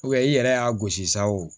i yɛrɛ y'a gosi sa o